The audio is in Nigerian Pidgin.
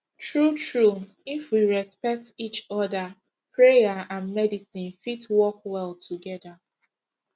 true true if we respect each other prayer and medicine fit work well together